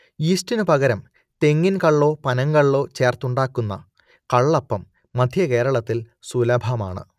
യീസ്റ്റിനു പകരം തെങ്ങിൻ കള്ളോ പനങ്കള്ളോ ചേർത്ത് ഉണ്ടാക്കുന്ന കള്ളപ്പം മധ്യകേരളത്തിൽ സുലഭമാണ്